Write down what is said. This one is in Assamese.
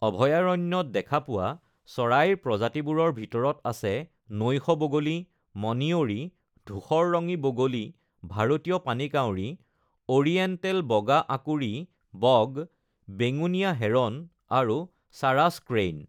অভয়াৰণ্যত দেখা পোৱা চৰাইৰ প্ৰজাতিবোৰৰ ভিতৰত আছে নৈশ বগলী, মণিয়ৰি, ধূসৰৰঙী বগলী, ভাৰতীয় পানীকাউৰী, অৰিয়েণ্টেল বগা আঁকুৰি বগ, বেঙুনীয়া হেৰন, আৰু চাৰাছ ক্ৰেইন।